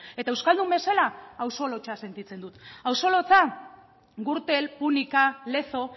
eta euskaldun bezala auzo lotsa sentitzen dut auzo lotsa gürtel púnica lezo